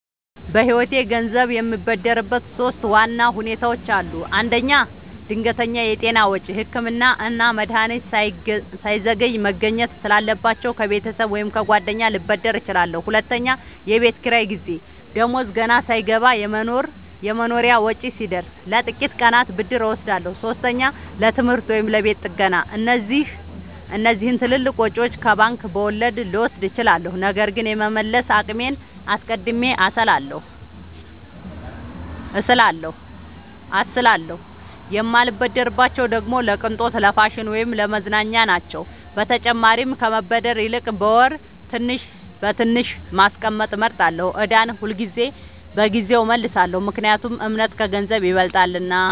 በህይወቴ ገንዘብ የምበደርበት ሶስት ዋና ሁኔታዎች አሉ። አንደኛ፣ ድንገተኛ የጤና ወጪ – ህክምና እና መድሀኒት ሳይዘገይ መገኘት ስላለባቸው፣ ከቤተሰብ ወይም ከጓደኛ ልበደር እችላለሁ። ሁለተኛ፣ የቤት ኪራይ ጊዜ – ደሞዝ ገና ሳይገባ የመኖሪያ ወጪ ሲደርስ፣ ለጥቂት ቀናት ብድር እወስዳለሁ። ሶስተኛ፣ ለትምህርት ወይም ለቤት ጥገና – እነዚህን ትልልቅ ወጪዎች ከባንክ በወለድ ልወስድ እችላለሁ፣ ነገር ግን የመመለስ አቅሜን አስቀድሜ አስላለሁ። የማልበደርባቸው ደግሞ ለቅንጦት፣ ለፋሽን ወይም ለመዝናኛ ናቸው። በተጨማሪም ከመበደር ይልቅ በወር ትንሽ በትንሽ ማስቀመጥ እመርጣለሁ። ዕዳን ሁልጊዜ በጊዜው እመልሳለሁ – ምክንያቱም እምነት ከገንዘብ ይበልጣልና።